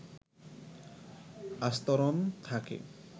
আস্তরণ থাকে